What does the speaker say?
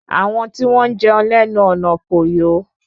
Àwọn tí wọn jẹun ní ẹnu ọnà kò yọ